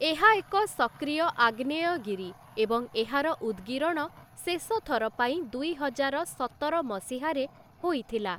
ଏହା ଏକ ସକ୍ରିୟ ଆଗ୍ନେୟଗିରି ଏବଂ ଏହାର ଉଦ୍‌ଗୀରଣ ଶେଷଥର ପାଇଁ ଦୁଇହଜାର ସତର ମସିହାରେ ହୋଇଥିଲା ।